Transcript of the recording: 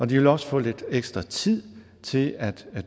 de vil også få lidt ekstra tid til at